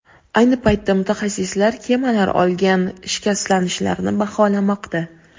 Ayni paytda mutaxassislar kemalar olgan shikastlanishlarni baholamoqda.